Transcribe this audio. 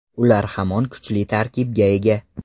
Ular hamon kuchli tarkibga ega”.